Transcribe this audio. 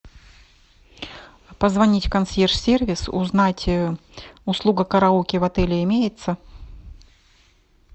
позвонить в консьерж сервис узнать услуга караоке в отеле имеется